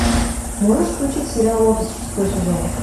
можешь включить сериал офис шестой сезон